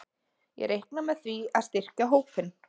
Ég reikna með því að styrkja hópinn.